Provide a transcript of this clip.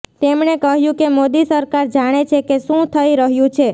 તેમણે કહ્યું કે મોદી સરકાર જાણે છે કે શું થઈ રહ્યું છે